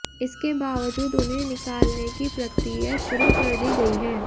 इसके बावजूद उन्हें निकालने की प्रक्रिया शुरू कर दी गई है